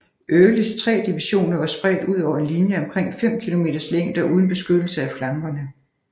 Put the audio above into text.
Earlys tre divisioner var spredt ud over en linje af omkring 5 kilometers længde og uden beskyttelse af flankerne